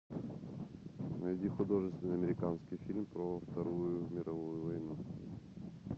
найди художественный американский фильм про вторую мировую войну